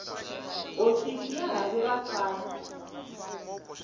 hofisi ya rhavi ra sars